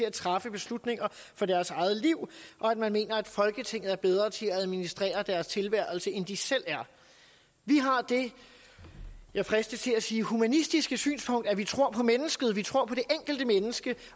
at træffe beslutninger for deres eget liv og at man mener at folketinget er bedre til at administrere deres tilværelse end de selv er vi har det jeg fristes til at sige humanistiske synspunkt at vi tror på mennesket vi tror på det enkelte menneske